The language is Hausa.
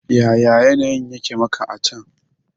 Yaya yanayin yake maka a can?